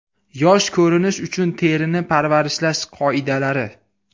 Yosh ko‘rinish uchun terini parvarishlash qoidalari.